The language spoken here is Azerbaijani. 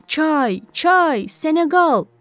Çay, çay, Seneqal!